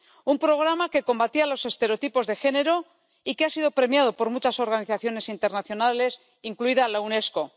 un programa que combatía los estereotipos de género y que ha sido premiado por muchas organizaciones internacionales, incluida la Unesco.